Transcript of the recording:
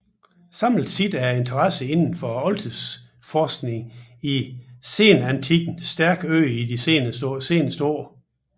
Samlet set er interessen inden for oldtidsforskningen i senantikken stærkt øget i de sidste år